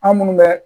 An minnu bɛ